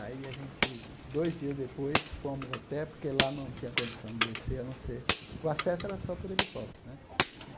Aí a gente, dois dias depois, fomos até, porque lá não tinha condição de descer, a não ser... O acesso era só por helicóptero, né?